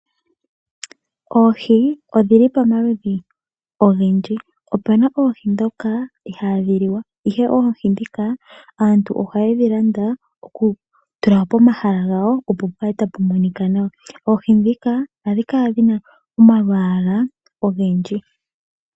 Oohi odhi li pamaludhi ogendji. Opu na oohi ndhoka ihaadhi liwa, ihe oohi ndhika aantu ohaye dhi landa okutula pomahala gawo, opo pu kale tapu monika nawa. Oohi ndhika ohadhi kala dhi na omalwaala ogendji.